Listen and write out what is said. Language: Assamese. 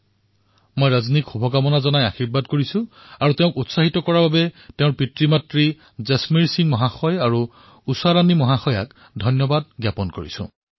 মই ৰজনীক শুভকামনা তথা আশীৰ্বাদ প্ৰদান কৰিছোঁ আৰু ৰজনীক উৎসাহ দিয়াৰ বাবে তেওঁৰ পিতৃমাতৃ জনমেৰ সিংজী আৰু উষাৰাণীজীক অভিনন্দন জনাইছোঁ